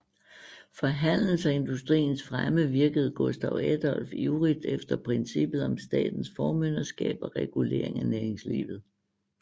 For handelens og industriens fremme virkede Gustav Adolf ivrigt efter princippet om statens formynderskab og regulering af næringslivet